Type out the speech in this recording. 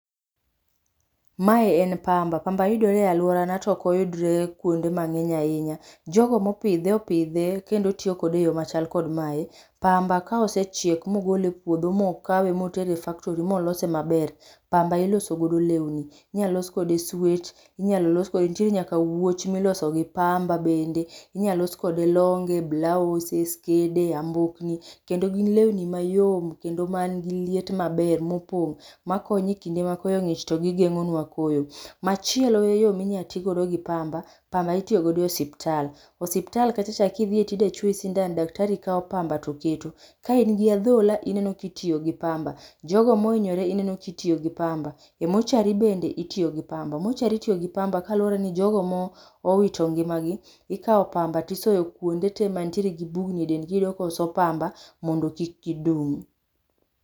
mae en pamba ,pamba yudore e aluorana to ok oyudre kuonde mang'eny ahinya jogo mopidhe opidhe kendo tiyo kode e yo machal kod mae, pamba ka osechiek mogole e puodho mokawe motere e factori molose maber, pamba iloso godo lewni inyalo los kode swet inyalo los kode ,nitiere nyaka wuoch molo kod pamba bende ,inyalo los kode longe, blaoses skede, ambokni kendo gin lewni mayom kendo man gi liet maber mopong makonyo me kinde makoyo ngich to gi geng'o nwa koyo, machielo eyo ma inyalo ti godo gi pamba pamba itiyo godo e hospital, hospital kacha kidhiye to idwa chuoyi sindan, daktari kawo pamab to keto, ka in gi adhola ineno kitiyo gi pamba, jogo mohinyore ineno kitiyo gi pamba, e mortuary bende itiyo gi pamba, martuary itiyo gi pamba kaluwore ni jogo mowito ngima gi ikawo pamba to isoyo kuonde te man gi bugni e dend gi ,iyudo koso pamba mondo kik gi dum.